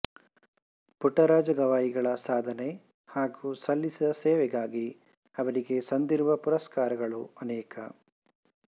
ಪುಟ್ಟರಾಜ ಗವಾಯಿಗಳ ಸಾಧನೆ ಹಾಗು ಸಲ್ಲಿಸಿದ ಸೇವೆಗಾಗಿ ಅವರಿಗೆ ಸಂದಿರುವ ಪುರಸ್ಕಾರಗಳು ಅನೇಕ